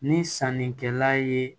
Ni sannikɛla ye